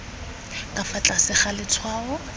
ka fa tlase ga letshwao